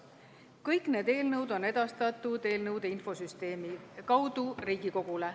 Kõik need eelnõud on edastatud eelnõude infosüsteemi kaudu Riigikogule.